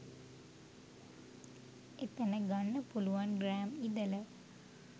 එතන ගන්න පුළුවන් ග්‍රෑම් ඉදල.